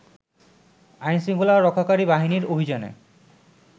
আইনশৃঙ্খলা রক্ষাকারী বাহিনীর অভিযানে